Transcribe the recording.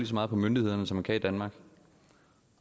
så meget på myndighederne som man kan i danmark